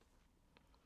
DR1